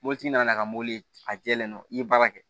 Mobilitigi nana ka mɔbili a jɛlen no i ye baara kɛ